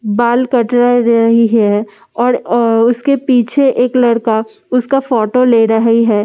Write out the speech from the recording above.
बाल कटरा र रही है और आ पीछे एक लड़का उसका फोटो ले रही है और इस--